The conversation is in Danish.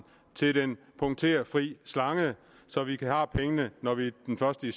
til den punkterfri slange så vi har pengene når vi den første